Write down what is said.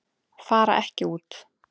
Fara ekki út